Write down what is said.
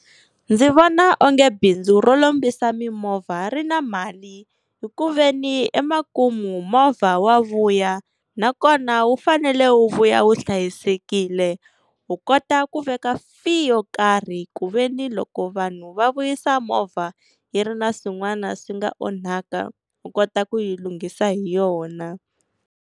Ndzi vona onge bindzu ro lombisa mimovha ri na mali, hi ku veni emakumu movha wa vuya nakona wu fanele wu vuya wu hlayisekile ku kota ku veka fee yo karhi, ku veni loko vanhu va vuyisa movha yi ri na swin'wana swi nga onhaka u kota ku yi lunghisa hi yona.